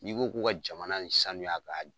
N'i ko ko ka jamana ni sanuya ka